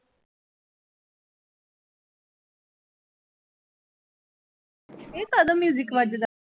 ਇਹ ਕਾਹਦਾ music ਵੱਜਦਾ।